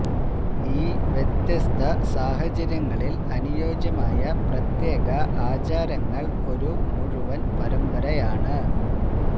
ഈ വ്യത്യസ്ത സാഹചര്യങ്ങളിൽ അനുയോജ്യമായ പ്രത്യേക ആചാരങ്ങൾ ഒരു മുഴുവൻ പരമ്പരയാണ്